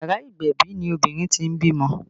Yàrá ìgbẹ̀bì ni obìnrin tí ń bímọ